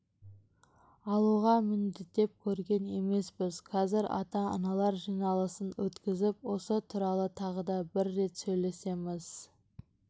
алуға міндеттеп көрген емеспіз қазір ата-аналар жиналысын өткізіп осы туралы тағы да бір рет сөйлесеміз